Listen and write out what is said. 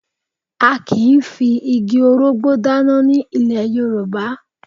A kì í fi igi orógbó dáná ní ilẹ̀ Yorùbá